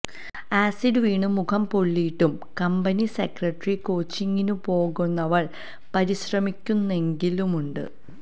acid വീണു മുഖം പൊള്ളിയിട്ടും കമ്പനി സെക്രട്ടറി കോച്ചിങിനു പോകാനവള് പരിശ്രമിക്കുന്നെങ്കിലുമുണ്ട്